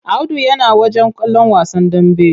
Audu yana wajen kallon wasan dambe.